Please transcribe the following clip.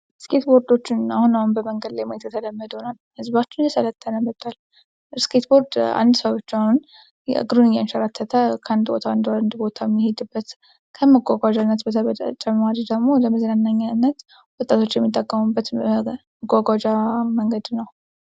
ስኬት ቦርዶችን አሁን አሁን በመንገድ ላይ ማየት የተለመደ ሁኗል ህዝባችን እየሰለጠነ መጧል ስኬት ቦርድ አንድ ሰው ብቻውን እግሩን እያንሸራተተ ከአንድ ቦታ ወደ አንድ ቦታ ሚሄድበት ከመጓጓዣነት በተጨማሪ ደግሞ ለመዝናኛነት ወጣቶች የሚጠቁሙበት የመጓጓዣ መንገድ ነው ።